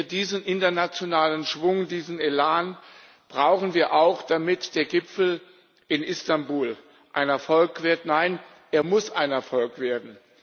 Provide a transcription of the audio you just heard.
Diesen internationalen Schwung, diesen Elan brauchen wir auch, damit der Gipfel in Istanbul ein Erfolg wird nein, er muss ein Erfolg werden.